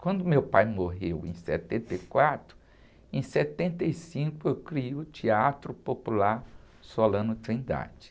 Quando meu pai morreu, em setenta e quatro, em setenta e cinco eu criei o Teatro Popular Solano Trindade.